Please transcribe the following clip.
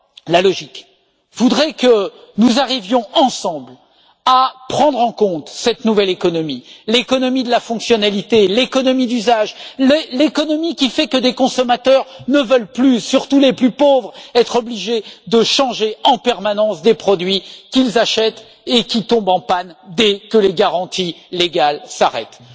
La logique voudrait que nous arrivions ensemble à prendre en compte la nouvelle économie, l'économie de la fonctionnalité, l'économie d'usage, l'économie qui fait que des consommateurs surtout les plus pauvres ne veulent plus être obligés de changer en permanence les produits qu'ils achètent et qui tombent en panne dès que les garanties légales s'arrêtent.